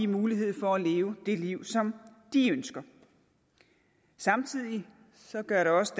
mulighed for at leve det liv som de ønsker samtidig gør det også